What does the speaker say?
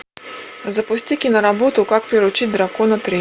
запусти киноработу как приручить дракона три